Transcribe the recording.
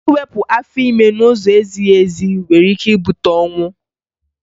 Iwepụ afọ ime n'ụzọ na-ezighi ezi nwere ike ibute ọnwụ